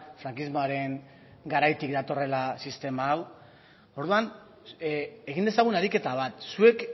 frankismoaren garaitik datorrela sistema hau orduan egin dezagun ariketa bat zuek